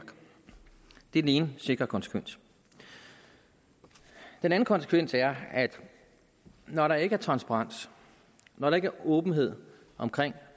ene sikre konsekvens den anden konsekvens er at når der ikke er transparens når der ikke er åbenhed omkring